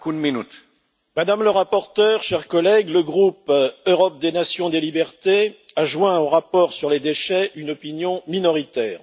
Monsieur le Président, Madame la rapporteure, chers collègues, le groupe Europe des nations et des libertés a joint au rapport sur les déchets une opinion minoritaire.